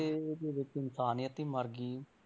ਦੇ ਵਿੱਚ ਇਨਸਾਨੀਅਤ ਹੀ ਮਰ ਗਈ,